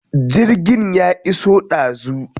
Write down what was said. Jirgin ya iso ɗazu.